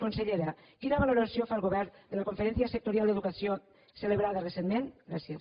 consellera quina valoració fa el govern de la conferència sectorial d’educació celebrada recentment gràcies